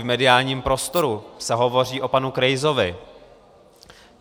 V mediálním prostoru se hovoří o panu Krejsovi.